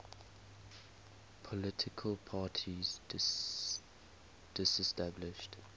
political parties disestablished